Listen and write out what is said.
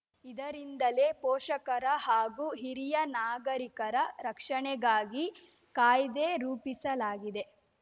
ಇದರಿಂದಲೇ ಪೋಷಕರ ಹಾಗೂ ಹಿರಿಯ ನಾಗರೀಕರ ರಕ್ಷಣೆಗಾಗಿ ಕಾಯ್ದೆ ರೂಪಿಸಲಾಗಿದೆ